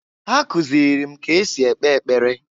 Ha kụzịlị m ka esi ekpe ekpere.